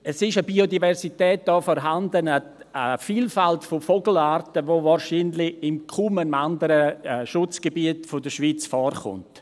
Es ist da eine Biodiversität vorhanden, eine Vielfalt von Vogelarten, die wahrscheinlich in kaum einem anderen Schutzgebiet der Schweiz vorkommt.